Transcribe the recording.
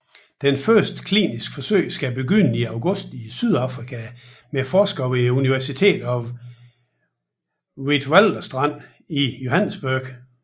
Det første kliniske forsøg skal begynde i august i Sydafrika med forskere ved University of the Witwatersrand i Johannesburg